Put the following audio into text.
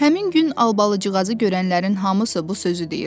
Həmin gün Albalıcığazı görənlərin hamısı bu sözü deyirdi.